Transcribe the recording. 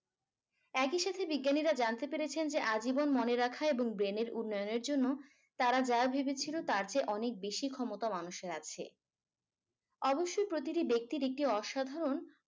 একই সাথে বিজ্ঞানীরা জানতে পেরেছেন যে আজীবন মনে রাখা এবং brain এর উন্নয়নের জন্য তারা যা ভেবেছিলো তার চেয়ে অনেক বেশি ক্ষমতা মানুষের আছে অবশ্যই প্রতিটি ব্যক্তির একটি অসাধারণ